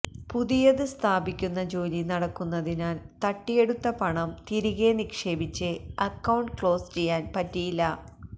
പുതിയത് സ്ഥാപിക്കുന്ന ജോലി നടക്കുന്നതിനാൽ തട്ടിയെടുത്ത പണം തിരികെ നിക്ഷേപിച്ച് അക്കൌണ്ട് ക്ലോസ് ചെയ്യാൻ പറ്റിയില്ല